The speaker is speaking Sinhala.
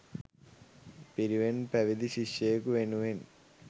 පිරිවෙන් පැවිදි ශිෂ්‍යයකු වෙනුවෙන්